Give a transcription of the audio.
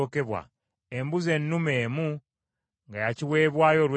embuzi ennume emu nga ya kiweebwayo olw’ekibi;